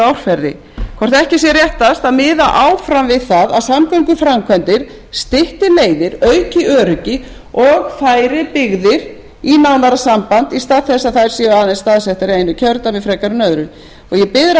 árferði hvort ekki sé réttast að miða áfram við það að samgönguframkvæmdir stytti leiðir auki öryggi og færi byggðir í nánara samband í stað þess að þær séu aðeins staðsettar í einu kjördæmi frekar en öðru og ég bið ráðherrann um